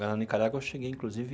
Na Nicarágua, eu cheguei, inclusive,